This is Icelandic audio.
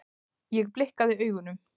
Ég blikkaði augunum.